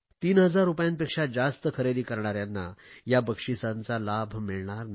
3000 रुपयांपेक्षा जास्त खरेदी करणाऱ्यांना या बक्षिसांचा लाभ मिळणार नाही